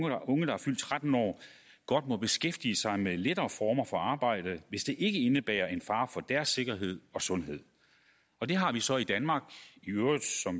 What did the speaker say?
at unge der er fyldt tretten år godt må beskæftige sig med lettere former for arbejde hvis det ikke indebærer en fare for deres sikkerhed og sundhed og det har vi så i danmark